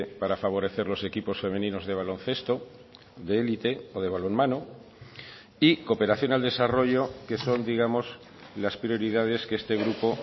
para favorecer los equipos femeninos de baloncesto de élite o de balonmano y cooperación al desarrollo que son digamos las prioridades que este grupo